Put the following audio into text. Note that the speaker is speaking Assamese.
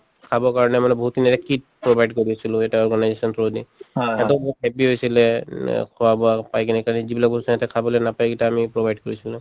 খাবৰ কাৰণে মানে বহুতো মানে kit provide কৰি আছিলো এটা organization ৰ through দি । যিকেইটা বস্তু সিহঁতে খাবলে নাপায় সেইকেইটা আমি provide কৰিছিলোঁ।